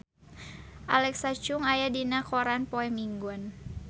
Alexa Chung aya dina koran poe Minggon